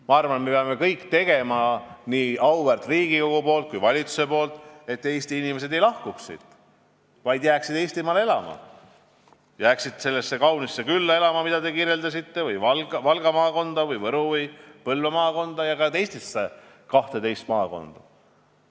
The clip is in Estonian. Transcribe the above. Ma arvan, nii auväärt Riigikogu kui ka valitsus peavad tegema kõik, et Eesti inimesed ei lahkuks siit, vaid jääksid Eestimaale elama, jääksid elama sellesse kaunisse külla, mida te kirjeldasite, Valga, Võru või Põlva maakonda ja ka teistesse maakondadesse.